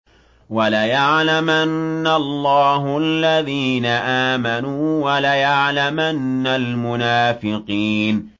وَلَيَعْلَمَنَّ اللَّهُ الَّذِينَ آمَنُوا وَلَيَعْلَمَنَّ الْمُنَافِقِينَ